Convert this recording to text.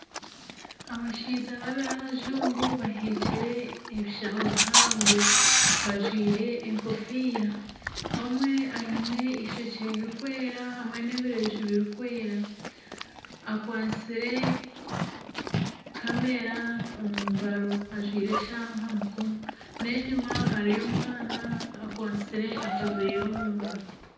Abashaija babiri abajungu baheekire ebishaho bihango bajwaire enkofiira. Omwe aine eishokye ririkwera hamwe n'ebireju birikwera. Akwatsire kamera omu ngaro ajwaire eshaaha aha mukono n'enyima hariyo omwana akwatsire akaveera omu ngaro.